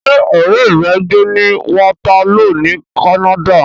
Ṣé ọ̀rẹ́ rẹ ń gbé ní Waterloo ní Canada?